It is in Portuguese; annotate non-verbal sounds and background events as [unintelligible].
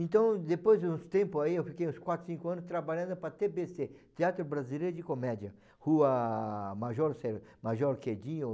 Então, depois de uns tempos aí, eu fiquei uns quatro, cinco anos trabalhando para a tê bê cê, Teatro Brasileiro de Comédia, Rua Major, [unintelligible] Major Quedinho...